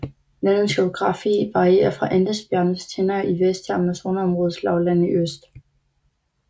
Landets geografi varierer fra Andesbjergenes tinder i vest til Amazonområdets lavlande i øst